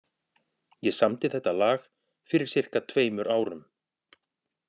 Ég samdi þetta lag fyrir sirka tveimur árum.